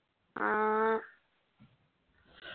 ആ